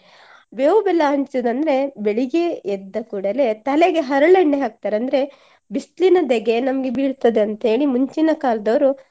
ಬೇವು ಬೆಲ್ಲ ಹಂಚುದಂದ್ರೆ ಬೆಳಿಗ್ಗೆ ಎದ್ದ ಕೂಡಲೇ ತಲೆಗೆ ಹರಳೆಣ್ಣೆ ಹಾಕ್ತಾರೆ ಅಂದ್ರೆ ಬಿಸ್ಲಿನ ದೆಗೆ ನಮ್ಗೆ ಬೀಳ್ತದಂತೇಳಿ ಮುಂಚಿನ ಕಾಲ್ದವ್ರು